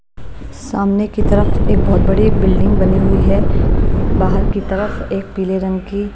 सामने की तरफ एक बहुत बड़ी बिल्डिंग बनी हुई है बाहर की तरफ एक पीले रंग की--